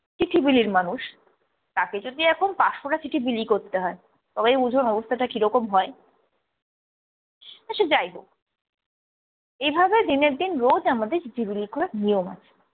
চিঠি বিলির মানুষ, তাকে যদি এখন পাঁচশোটা চিঠি বিলি করতে হয় তবেই বুঝুন অবস্থাটা কিরকম হয়। তা সে যাই হোক এভাবে দিনের দিন রোজ আমাদের চিঠি বিলি করার নিয়ম আছে।